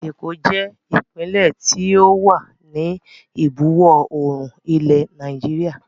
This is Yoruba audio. Èkó jẹ ìpínlẹ́ tí ó wà ní ìbuwọ̀ oòrùn ilẹ̀ Nàìjíríà